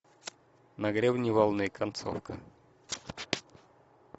на гребне волны концовка